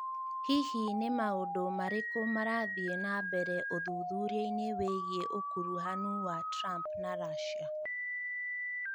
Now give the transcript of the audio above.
hihi nĩ maũndũ marĩkũ marathiĩ na mbere ũthuthuria-inĩ wĩgiĩ ũkuruhanu wa Trump na Russia?